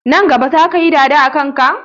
Nan gaba zaka yi dada a kanka?